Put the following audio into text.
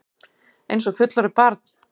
Einsog fullorðið barn.